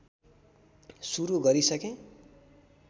सुरु गरिसकेँ